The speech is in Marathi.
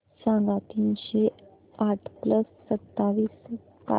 सांगा तीनशे आठ प्लस सत्तावीस काय